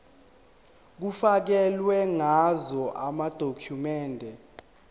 kufakelwe ngazo amadokhumende